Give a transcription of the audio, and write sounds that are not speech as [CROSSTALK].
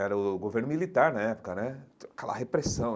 Era o governo militar na época né, [UNINTELLIGIBLE] aquela repressão.